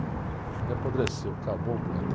Ele apodreceu, acabou o poeta.